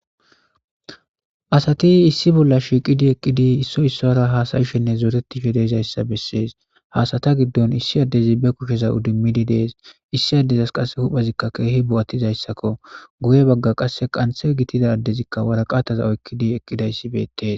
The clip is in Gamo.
Asati issi bolla shiiqqidi eqqidi issoy issuwara hassayishenne zooretishe de'izayssa beses ha asata giddon issi addezi be kushsheza iidimidii de'es issoy dizayssi huphphezikka bo'attidayssakko guye bagga qasekka qanththa gidida addezikka waraqataza oyqqidayssi beettes